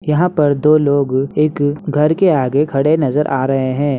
यहाँ पर दो लोग एक घर के आगे खड़े नजर आ रहे हैं।